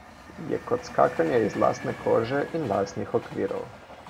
Je kot skakanje iz lastne kože in lastnih okvirov.